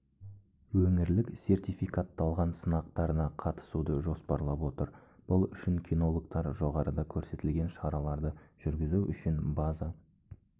өңірлік сертификатталған сынақтарына қатысуды жоспарлап отыр бұл үшін кинологтар жоғарыда көрсетілген шараларды жүргізу үшін база